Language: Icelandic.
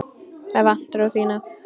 Með vantrú þína.